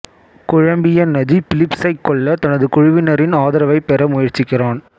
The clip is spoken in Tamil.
குழம்பிய நஜீ பிலிப்சைக் கொல்லத் தனது குழுவினரின் ஆதரவைப் பெற முயற்சிக்கிறான்